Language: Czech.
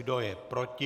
Kdo je proti?